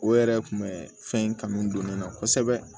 O yɛrɛ kun bɛ fɛn in kanu don ne la kosɛbɛ